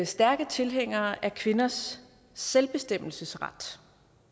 stærke tilhængere af kvinders selvbestemmelsesret